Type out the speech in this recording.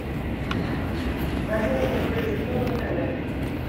покажи мне кто есть кто на тв